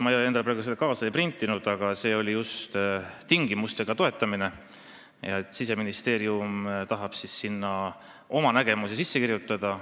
Ma seda praegu kaasa ei võtnud, aga see seisukoht oli, et toetatakse tingimustega ja Siseministeerium tahab eelnõusse oma nägemuse sisse kirjutada.